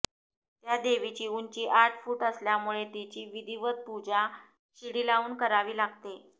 त्या देवीची उंची आठ फूट असल्यामुळे तिची विधिवत पूजा शिडी लावून करावी लागते